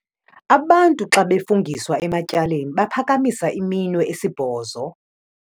Abantu xa befungiswa ematyaleni baphakamisa iminwe esibhozo.